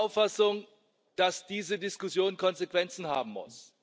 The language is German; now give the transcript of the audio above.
Ich bin der Auffassung, dass diese Diskussion Konsequenzen haben muss.